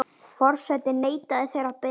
Forseti neitaði þeirri beiðni.